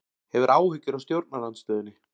Hefur áhyggjur af stjórnarandstöðunni